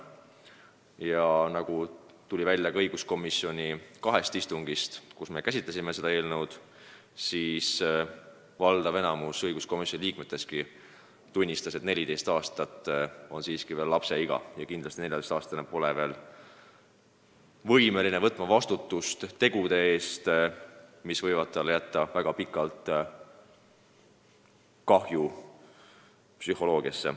Ja nagu tuli välja ka õiguskomisjoni kahel istungil, kus me seda eelnõu käsitlesime, valdav enamik komisjoni liikmetestki tunnistas, et 14 aastat on siiski veel lapseiga ja kindlasti pole 14-aastane võimeline võtma vastutust tegude eest, mis võivad psühholoogiliselt talle väga pikalt palju kahju teha.